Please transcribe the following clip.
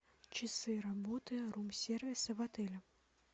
часы работы рум сервиса в отеле